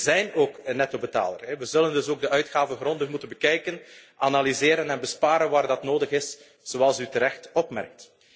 Wij zijn ook een nettobetaler. We zullen dus ook de uitgaven grondig moeten bekijken, analyseren en besparen waar dat nodig is, zoals u terecht opmerkt.